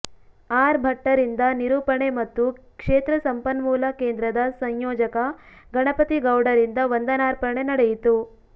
R ಭಟ್ಟರಿಂದ ನಿರೂಪಣೆ ಮತ್ತು ಕ್ಷೇತ್ರ ಸಂಪನ್ಮೂಲ ಕೇಂದ್ರದ ಸಂಯೋಜಕ ಗಣಪತಿ ಗೌಡರಿಂದ ವಂದನಾರ್ಪಣೆ ನಡೆಯಿತು